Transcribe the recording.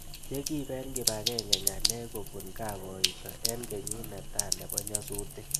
Che kiip eng' kipag'eng'e ng'alek kopun kappoisho eng' kenyit netai nepo nyasutik